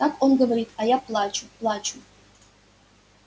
так он говорит а я плачу плачу